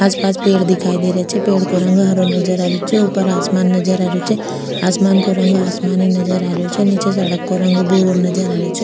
आस पास पेड़ दिखाई दे रा छे पेड़ को रंग हरो नजर आ रेहो छे ऊपर आसमान नजर आ रेहो छे आसमान का रंग आसमानी नजर आ रेहो छे नीचे सड़क को रंग भूरो नजर आ रेहो छे।